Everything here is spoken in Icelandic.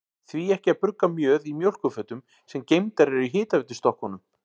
Því ekki að brugga mjöð í mjólkurfötum, sem geymdar eru í hitaveitustokkunum?